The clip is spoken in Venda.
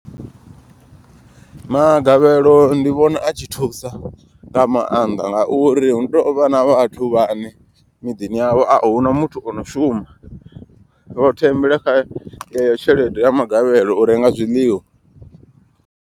Magavhelo ndi vhona i tshi thusa nga maanḓa. Ngauri hu tovha na vhathu vhane miḓini yavho ahuna muthu ono shuma. Vho thembela kha yeyo tshelede ya magavhelo u renga zwiḽiwa.